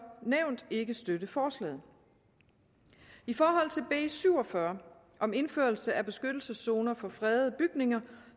nævnt ikke støtte forslaget i forhold til b syv og fyrre om indførelse af beskyttelseszoner for fredede bygninger